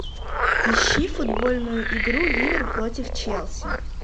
ищи футбольную игру ливер против челси